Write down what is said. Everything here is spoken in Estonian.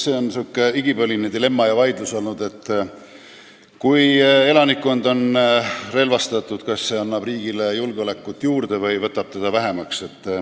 See on olnud igipõline dilemma ja vaidlus, et kui elanikkond on relvastatud, kas see siis annab riigile julgeolekut juurde või võtab seda vähemaks.